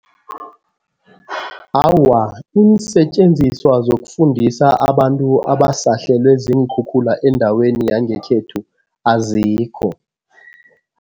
Awa, iinsetjenziswa zokufundisa abantu abasahlelwe ziinkhukhula endaweni yangekhethu azikho.